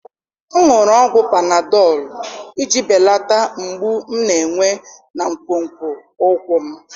M ṅụrụ ọgwụ panadọlụ iji belata mgbu m na-enwe na nkwonkwo ụkwụ m